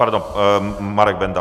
Pardon. Marek Benda.